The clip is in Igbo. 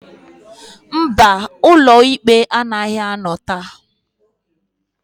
Mba, ụlọ ikpe anaghị anọ taa.